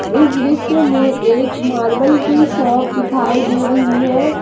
इस दृश्य में एक मार्बल की शॉप दिखाई दे रही है।